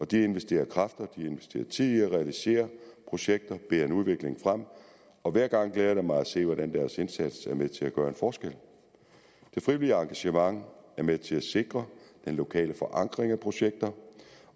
de investerer kræfter de investerer tid i at realisere projekter bærer en udvikling frem og hver gang glæder det mig at se hvordan deres indsats er med til at gøre en forskel det frivillige engagement er med til at sikre den lokale forankring af projekter